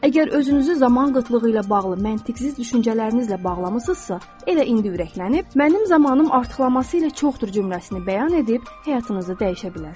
Əgər özünüzü zaman qıtlığı ilə bağlı məntiqsiz düşüncələrinizlə bağlamısınızsa, elə indi ürəklənib, mənim zamanım artıqlaması ilə çoxdur cümləsini bəyan edib həyatınızı dəyişə bilərsiniz.